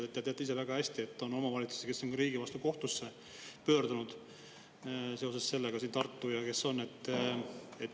Te teate väga hästi, et on omavalitsusi, kes on riigi vastu kohtusse pöördunud – Tartu ja veel.